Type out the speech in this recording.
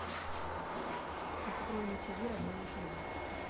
открой на тиви родное кино